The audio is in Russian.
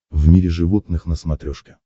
в мире животных на смотрешке